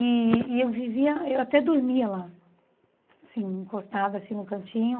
E e eu vivia eu até dormia lá, assim encostada assim no cantinho.